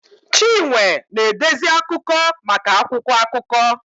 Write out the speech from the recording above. Chinwe na-edezi akụkọ maka akwụkwọ akụkọ